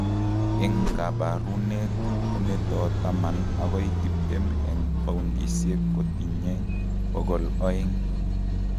Eng' kaboruneet kemeto taman akoi tiptem eng' poundisiek kotitinye bokol oeng'